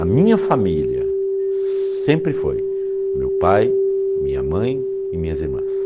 A minha família sempre foi meu pai, minha mãe e minhas irmãs.